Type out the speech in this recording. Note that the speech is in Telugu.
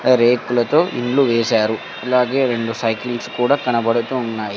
రేకులతో ఇల్లు వేశారు అలాగే రెండు సైకిల్స్ కూడా కనబడుతూ ఉన్నాయి.